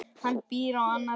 Hún býr á annarri hæð.